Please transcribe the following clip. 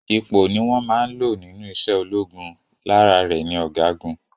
Ipò ni wón máa n lò nínú ise ológun, lára rè ni ọ̀gágun